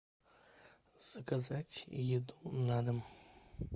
заказать еду на дом